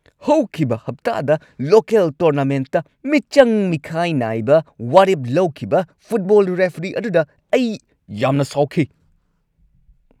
ꯍꯧꯈꯤꯕ ꯍꯞꯇꯥꯗ ꯂꯣꯀꯦꯜ ꯇꯣꯔꯅꯥꯃꯦꯟꯠꯇ ꯃꯤꯆꯪ ꯃꯤꯈꯥꯏ ꯅꯥꯏꯕ ꯋꯥꯔꯦꯞ ꯂꯧꯈꯤꯕ ꯐꯨꯠꯕꯣꯜ ꯔꯦꯐ꯭ꯔꯤ ꯑꯗꯨꯗ ꯑꯩ ꯌꯥꯝꯅ ꯁꯥꯎꯈꯤ ꯫